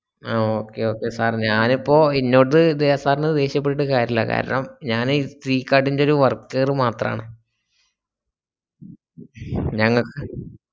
ആഹ് okay okay sir ഞാനിപ്പോ ഇന്നൊട് sir ന് ദ്വേഷ്യപ്പെട്ടിട്ട് കാര്യല്ല കാരണം ഞാന് ഫികാർഡിന്റെ ഒരു worker മാത്രാണ് ഞങ്ങക്ക്